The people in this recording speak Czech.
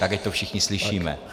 Tak ať to všichni slyšíme.